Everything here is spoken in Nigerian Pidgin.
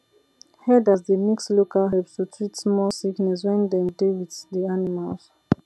herders dey mix local herbs to treat small sickness when dem dey with the animals